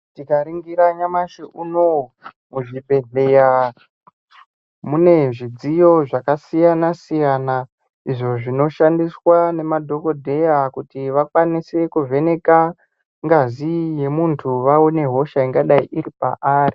Tikaringira nyamashi unowu muzvibhedhleya mune zvidziyo zvakasiyana siyana izvo zvinoshandiswa nemadhokodheya kuti vakwanise kuvheneke ngazi yomuntu vaone hosha ingadai iri paari.